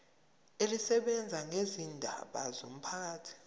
elisebenza ngezindaba zomphakathi